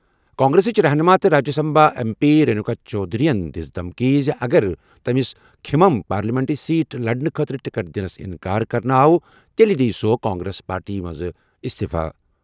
کانگریسٕچ رہنُما تہٕ Rajya Sabha M P Renuka Chowdhury یَن دِژ دھمکی زِ اگر تٔمِس کھمم پارلیمانی سیٹ لڑنہٕ خٲطرٕ ٹکٹ نِش اِنکار کرنہٕ یِیہِ تیٚلہِ دِیہِ کانگریس پارٹی پٮ۪ٹھ اِستِفہٕ۔